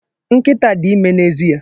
Nkịta dị ime n'ezie